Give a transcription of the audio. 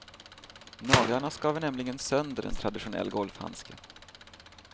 Naglarna skaver nämligen sönder en traditionell golfhandske.